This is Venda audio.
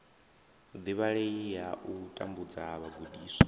divhalei ya u tambudza vhagudiswa